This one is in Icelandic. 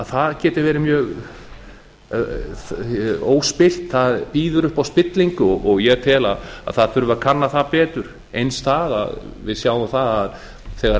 að það geti verið mjög óspillt það býður upp á spillingu og ég tel að það þurfi að kanna það betur eins það að við sjáum það að þegar